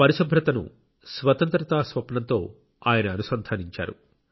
పరిశుభ్రతను స్వతంత్రతా స్వప్నంతో ఆయన అనుసంధానించారు